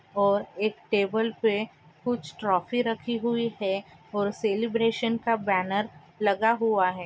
और एक टेबल पे कुछ ट्रॉफी राखी हुई है और सेलब्रैशन का बैनर लगा हुआ है।